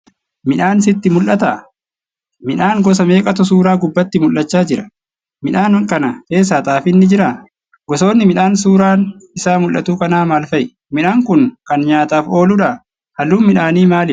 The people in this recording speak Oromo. Midhaan sitti mul'ataa?. Midhaan gosa meeqatu suuraa gubbaatti mul'acha Jira?.midhaan kana keessa xaafiin ni jiraa?. Gosoonni midhaan suuraan Isaa mul'atu kanaa maalfa'i?. Midhaan Kuni Kan nyaataaf ooludhaa?. halluun midhaani maalidha?.